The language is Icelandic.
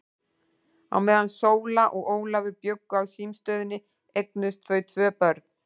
Á meðan Sóla og Ólafur bjuggu á símstöðinni eignuðust þau tvö börn.